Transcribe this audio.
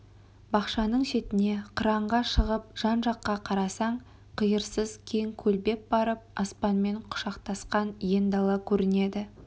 бақшаның шетіне қыранға шығып жан-жаққа қарасаң қиырсыз кең көлбеп барып аспанмен құшақтасқан ен дала көрінеді